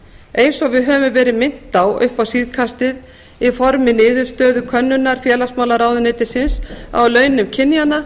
eins og við höfum verið minnt á upp á síðkastið í formi niðurstöðu könnunar félagsmálaráðuneytisins á launum kynjanna